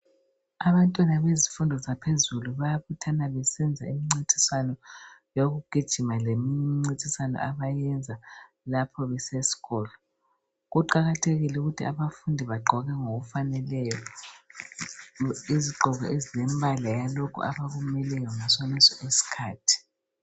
Abantwana bezifundo zaphezulu bayabuthana besenza imincintiswano yokugijima lemincintiswano abayenza lapho besesikolo Kuqakathekile ukuthi abafundi bagqoke ngokufaneleyo izigqoko ezilembala yalokho abakumeleyo ngasoneso isikhathi